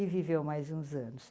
E viveu mais uns anos.